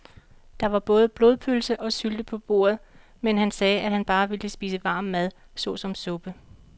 Der var både blodpølse og sylte på bordet, men han sagde, at han bare ville spise varm mad såsom suppe.